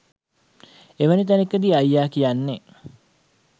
එවැනි තැනකදී අයියා කියන්නේ